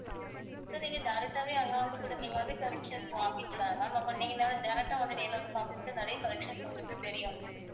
so நீங்க direct ஆவே அங்க வந்து கூட நீங்க வந்து collections வாங்கிக்கலாம் ma'am ஆ direct ஆ வந்து நேரிலே வந்து பார்க்கும் போது நிறைய collections உங்களுக்கு தெரியும்